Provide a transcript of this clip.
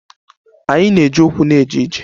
Anyị na-eji ụkwụ na-eje ije.